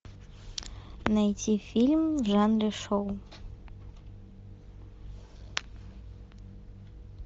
найти фильм в жанре шоу